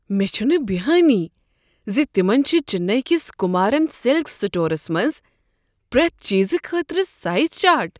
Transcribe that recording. مےٚ چھنہٕ بٮ۪یہانٕیہ ز تِمن چھِ چنیی کس کمارن سلکس سٹورس منٛز نش پرٛیتھ چیزٕ خٲطرٕ سایز چارٹ ۔